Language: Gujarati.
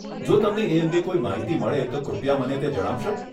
જો તમને એ અંગે કોઈ માહિતી મળે તો કૃપયા મને તે જણાવશો?